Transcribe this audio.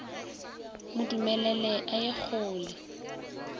mo dumelele a ye kgole